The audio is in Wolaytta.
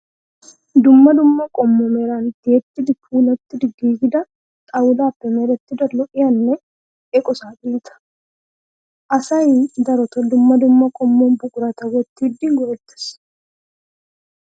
Dumma dumma qommo meran ti''etti puulatti giigida xawulaappe merettida lo'iyaa eqo saaxineta. Asayi darotoo dumma dumma qommo buqurata wottidi go'ettes.